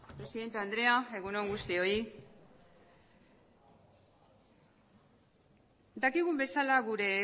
presidente andrea egun on guztioi dakigun bezala gure